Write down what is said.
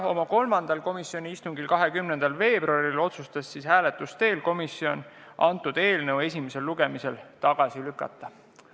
Kolmandal komisjoni istungil, mis toimus 20. veebruaril, otsustas komisjon hääletuse teel teha ettepaneku eelnõu esimesel lugemisel tagasi lükata.